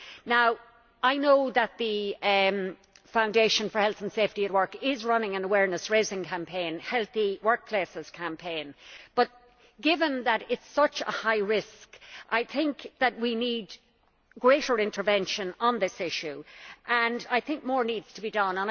Now I know that the European Agency for Health and Safety at Work is running an awareness raising campaign the Healthy Workplaces Campaign but, given that it is such a high risk, I think that we need greater intervention on this issue and I think more needs to be done.